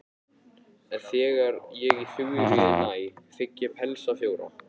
En þegar ég í Þuríði næ þigg ég pelsa fjóra.